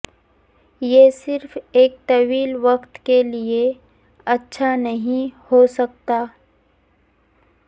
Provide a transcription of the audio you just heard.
یہ صرف ایک طویل وقت کے لئے اچھا نہیں ہو سکتا